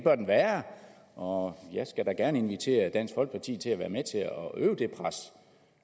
og jeg skal da gerne invitere dansk folkeparti til at være med til